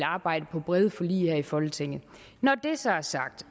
arbejde på brede forlig her i folketinget når det så er sagt